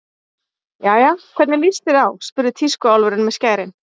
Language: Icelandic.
Jæja, hvernig líst þér á spurði tískuálfurinn með skærin.